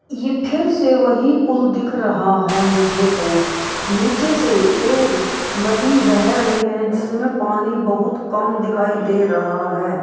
ये फिर से वही पूल दिख रहा है मुझे तो निचे से एक नदी बह रही है जिसमे पानी बहुत कम दिखाई दे रहा है।